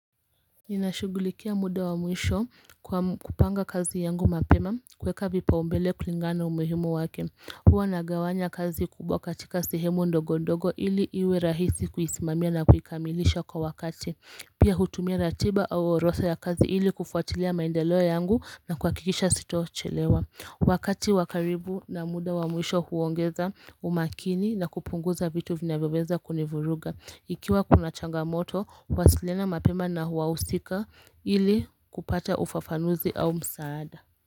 Ninashugulikia muda wa muisho kupanga kazi yangu mapema kuweka vipa umbele kulingana umuhimu wake Hua nagawanya kazi kubwa katika sihemu ndogo ndogo ili iwe rahisi kuhisimamia na kuhikamilisha kwa wakati Pia hutumia ratiba au oroda ya kazi ili kufuatilia maendeloa yangu na kuhakikisha sitochelewa Wakati wakaribu na muda wa muisho huongeza umakini na kupunguza vitu vinawebeza kunivuruga Ikiwa kuna changamoto, uwasiliana mapema na huwausika ili kupata ufafanuzi au msaada.